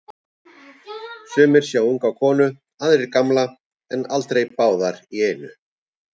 Sumir sjá unga konu, aðrir gamla, en aldrei báðar í einu.